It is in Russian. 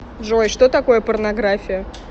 джой что такое порнография